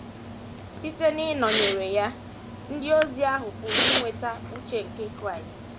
Site n’ịnọnyere ya, ndị ozi ahụ pụrụ inwetatụ uche nke Kraịst.